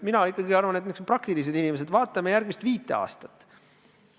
Mina ikkagi arvan, et me peaksime olema praktilised inimesed ja vaatama järgmist viit aastat.